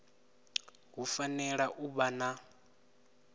hu fanela u vha na